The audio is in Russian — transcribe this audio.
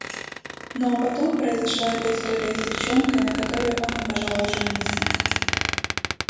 ну а потом произошла эта история с девчонкой на которой он не пожелал жениться